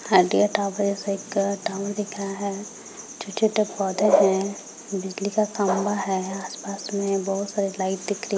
एक टाउन दिख रहा है छोट-छोटे पौधे है बिजली का खम्भा है आसपास में बोहोत सारी लाइट दिख रही --